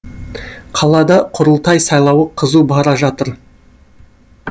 қалада құрылтай сайлауы қызу бара жатыр